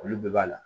Olu bɛɛ b'a la